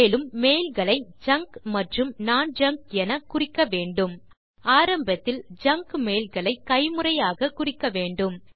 மேலும் மெயில் களை ஜங்க் மற்றும் நோன் ஜங்க் என குறிக்க வேண்டும் ஆரம்பத்தில் ஜங்க் மெயில் ஐ கைமுறையாக குறிக்க வேண்டும்